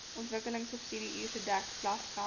ontwikkelingstudiebeurse dek klasgeld